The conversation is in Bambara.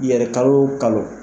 I yɛrɛ kalo o kalo.